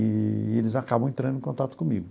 Eee e eles acabam entrando em contato comigo.